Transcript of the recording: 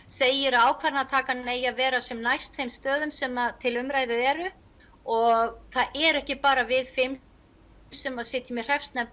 segir að ákvörðunartakan eigi að vera sem næst þeim stöðum sem til umræðu eru og það er ekki bara við fimm sem sitjum í hreppsnefnd